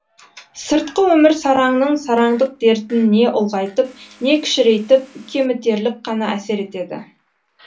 сыртқы өмір сараңның сараңдық дертін не ұлғайтып не кішірейтіп кемітерлік қана әсер етеді